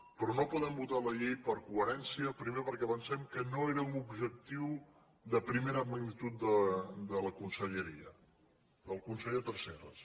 però no podem votar la llei per coherència primer perquè pensem que no era un objectiu de primera magnitud de la conselleria del conseller tresserras